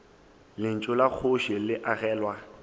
lentšu la kgoši le agelwa